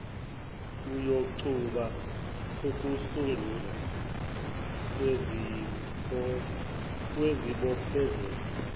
iyoxuba ukusungulwa kwezibophezelo